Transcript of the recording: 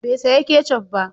Bai saya kecaf ba?